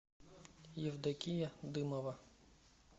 евдокия дымова